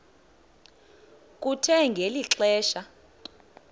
kuthe ngeli xesha